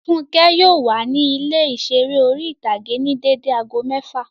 Fúnkẹ́ yóò wà ní ilé ìseré orí-ìtágé ní dédé aago mẹ́ẹ́fà